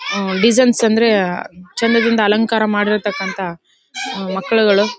Designs ಅಂದ್ರೆ ಚಂದದಿಂದ ಅಲಂಕಾರ ಮಾಡಿರೋತಕ್ಕಂತಹ ಮಕ್ಕಳುಗಳು.